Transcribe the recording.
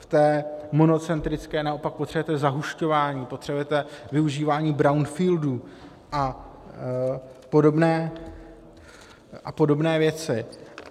V té monocentrické naopak potřebujete zahušťování, potřebujete využívání brownfieldů a podobné věci.